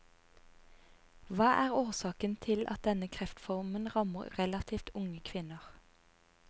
Hva er årsaken til at denne kreftformen rammer relativt unge kvinner?